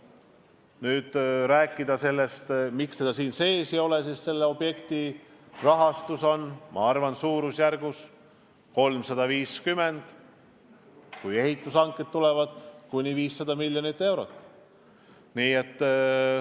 Kui rääkida sellest, miks seda koalitsioonilepingus ei ole, siis selle objekti rahastus on minu arvates suurusjärgus 350 miljonit eurot, kui ehitushanked tulevad, siis kuni 500 miljonit eurot.